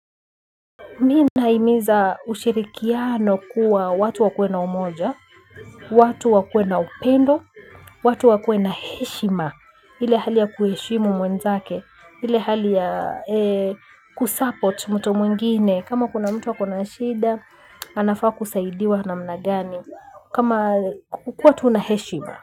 Mi na himiza ushirikiano kuwa watu wakue na umoja, watu wakue na upendo, watu wakue na heshima, ile hali ya kuheshimu mwenzake, ile hali ya kusupport mtu mwingine, kama kuna mtu ako na shida, anafaa kusaidiwa namna gani, kama kukua tu na heshima.